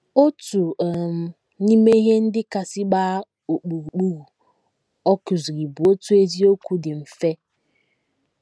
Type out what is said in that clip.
Otu um n’ime ihe ndị kasị gbaa ọkpụrụkpụ ọ kụziri bụ otu eziokwu dị mfe.